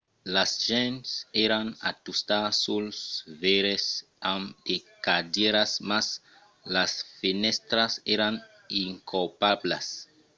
las gents èran a tustar suls veires amb de cadièras mas las fenèstras èran incopablas